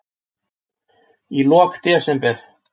Í lok desember